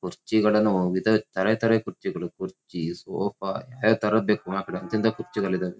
ಕುರ್ಚಿಗಳಲ್ಲೂ ವಿಧ ತರತರ ಕುರ್ಚಿಗಳು ಕುರ್ಚಿ ಸೋಫಾ ಯಾವ್ಯಾವ್ ಥರದು ಬೇಕು ಎಂಥೆಂಥ ಕುರ್ಚಿಗಳಿದಾವೆ.